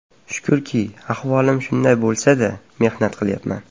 Shukurki, ahvolim shunday bo‘lsa-da, mehnat qilyapman.